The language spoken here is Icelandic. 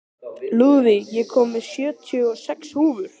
Lúðvíg, ég kom með sjötíu og sex húfur!